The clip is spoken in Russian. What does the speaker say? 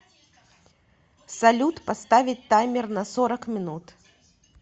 салют поставить таймер на сорок минут